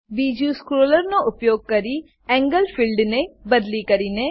બીજું સ્ક્રોલરનો ઉપયોગ કરી એન્ગલ ફીલ્ડને બદલી કરીને